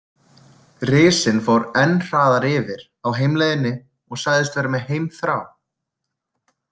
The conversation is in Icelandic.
Risinn fór enn hraðar yfir á heimleiðinni og sagðist vera með heimþrá.